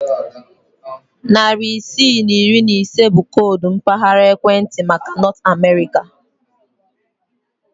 Narị isii na iri ise bụ koodu mpaghara ekwentị maka Nọt Amerịka